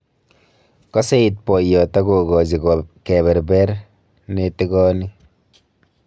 Kaseiit boyot ak ko gaji keberber netigoni